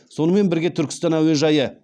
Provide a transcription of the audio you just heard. сонымен бірге түркістан әуежайы